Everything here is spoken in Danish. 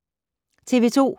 TV 2